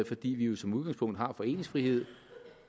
fordi vi jo som udgangspunkt har foreningsfrihed